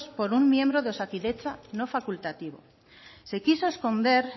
por un miembro de osakidetza no facultativo se quiso esconder